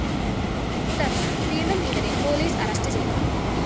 തുടര്‍ന്ന് വീണ്ടും ഇവരെ പോലീസ അറസ്റ്റ്‌ ചെയ്തു